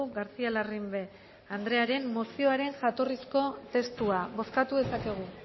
garcía larrimbe andrearen mozioaren jatorrizko testua bozkatu dezakegu